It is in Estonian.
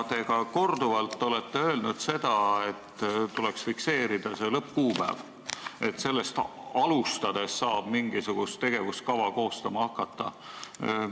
Te olete korduvalt öelnud, et tuleks fikseerida see lõppkuupäev, et sellest alustades saab mingisugust tegevuskava koostama hakata.